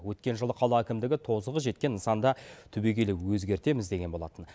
өткен жылы қала әкімдігі тозығы жеткен нысанды түбегейлі өзгертеміз деген болатын